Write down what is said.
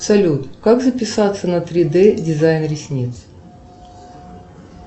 салют как записаться на три д дизайн ресниц